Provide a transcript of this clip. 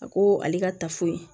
A ko ale ka tafe